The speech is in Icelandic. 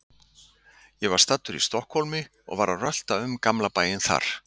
Ég var staddur í Stokkhólmi og var að rölta um gamla bæinn þar.